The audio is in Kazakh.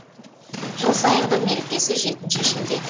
жыл сайынғы мерекесі жетінші шілде